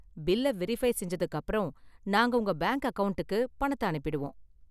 பில்லை வெரிஃப்பை செஞ்சதுக்கு அப்பறம், நாங்க உங்க பேங்க் அக்கவுண்ட்க்கு பணத்தை அனுப்பிடுவோம்.